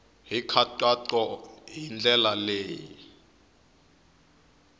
hi nkhaqato hi ndlela ya